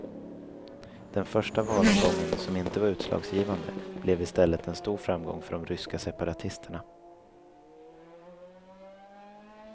Den första valomgången, som inte var utslagsgivande, blev i stället en stor framgång för de ryska separatisterna.